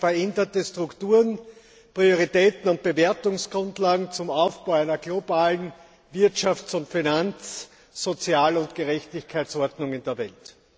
veränderte Strukturen, Prioritäten und Bewertungsgrundlagen zum Aufbau einer globalen Wirtschafts und Finanz Sozial und Gerechtigkeitsordnung in der Welt.